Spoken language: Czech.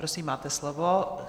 Prosím, máte slovo.